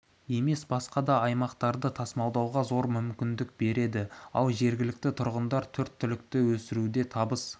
емес басқа да аймақтарға тасымалдауға зор мүмкіндік береді ал жергілікті тұрғындар төрт түлікті өсіруде табыс